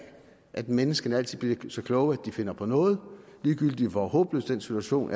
at menneskene altid vil så kloge at de finder på noget ligegyldigt hvor håbløs den situation